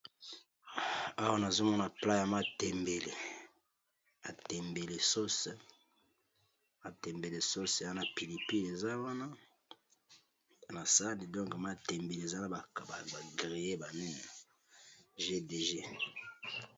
Plat ya matembele, na pilipili nakati, bakalingi yango kitoko.